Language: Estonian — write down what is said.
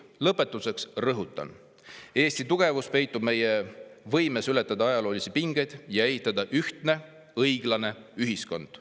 Lõpetuseks rõhutan: Eesti tugevus peitub meie võimes ületada ajaloolisi pingeid ja ehitada ühtne, õiglane ühiskond.